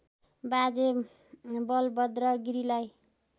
बाजे बलभद्र गिरीलाई